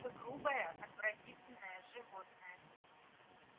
вы грубое отвратительное животное